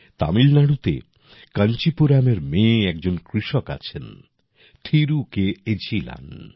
তামিলনাড়ুতে কাঞ্চিপুরামের মেয়ে একজন কৃষক আছেন থিরু কে এঝিলান